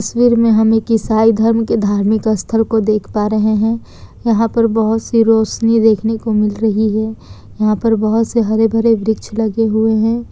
तस्वीर में हम एक ईसाई धर्म के धार्मिक स्थल को देख पा रहे हैं यहां पर बहुत सी रोशनी देखने को मिल रही है यहां पर बहुत सारे भरे वृक्ष लगे हुए हैं।